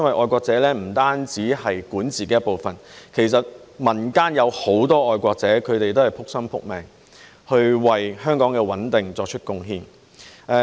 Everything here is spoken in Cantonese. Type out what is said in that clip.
愛國者不單是管治團隊的一部分，其實民間也有很多愛國者，他們都是"仆心仆命"，為香港的穩定作出貢獻。